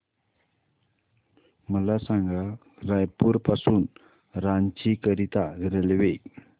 मला सांगा रायपुर पासून रांची करीता रेल्वे